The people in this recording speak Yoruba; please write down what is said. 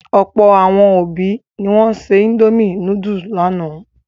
Ọ̀pọ̀ àwọn òbí ni wọ́n se indomie núdúlù lánàá.